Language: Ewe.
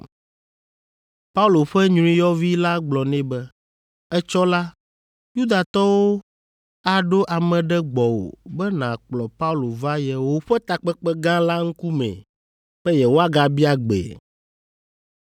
Paulo ƒe nyruiyɔvi la gblɔ nɛ be, “Etsɔ la, Yudatɔwo aɖo ame ɖe gbɔwò be nàkplɔ Paulo va yewoƒe takpekpe gã la ŋkumee be yewoagabia gbee.